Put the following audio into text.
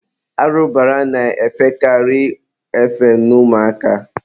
arụbara na-efekarị efe n'ụmụ aka.